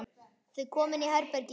Þau koma inn í herbergið hans.